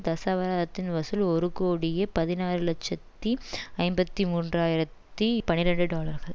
தசாவதாரத்தின் வசூல் ஒரு கோடியே பதினாறு இலட்சத்தி ஐம்பத்தி மூன்று ஆயிரத்தி பனிரண்டு டாலர்கள்